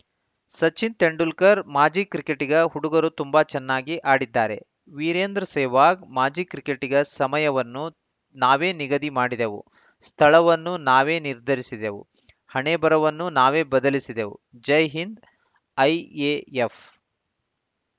ಸಚಿನ್‌ ತೆಂಡುಲ್ಕರ್‌ ಮಾಜಿ ಕ್ರಿಕೆಟಿಗ ಹುಡುಗರು ತುಂಬಾ ಚೆನ್ನಾಗಿ ಆಡಿದ್ದಾರೆ ವೀರೇಂದ್ರ ಸೆಹ್ವಾಗ್‌ ಮಾಜಿ ಕ್ರಿಕೆಟಿಗ ಸಮಯವನ್ನು ನಾವೇ ನಿಗದಿ ಮಾಡಿದೆವು ಸ್ಥಳವನ್ನು ನಾವೇ ನಿರ್ಧರಿಸಿದೆವು ಹಣೆಬರಹವನ್ನೂ ನಾವೇ ಬದಲಿಸಿದೆವು ಜೈ ಹಿಂದ್‌ ಐಎಎಫ್‌